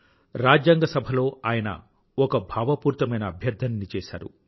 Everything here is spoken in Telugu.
రాజ్యాంగ సభలో ఆయన ఒక భావపూరితమైన అభ్యర్థన ని చేసారు